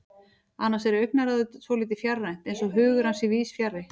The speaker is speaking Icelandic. Annars er augnaráðið svolítið fjarrænt, eins og hugur hans sé víðsfjarri.